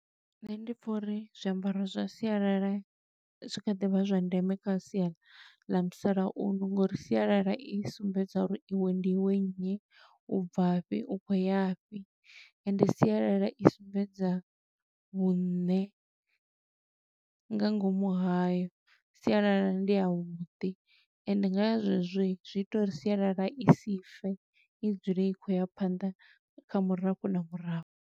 Nṋe ndi pfa uri zwiambaro zwa sialala zwi kha ḓi vha zwa ndeme kha sia ḽa musalauno, ngo uri sialala i sumbedza uri i we ndi i we nnyi, u bva fhi, u khou ya fhi, ende sialala i sumbedza vhuṋe, nga ngomu hayo. Sialala ndi ya vhuḓi, ende nga ya zwe zwo zwi ita uri sialala i si fe, i dzule i khou ya phanḓa kha murafho na murafho.